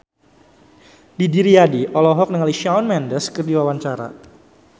Didi Riyadi olohok ningali Shawn Mendes keur diwawancara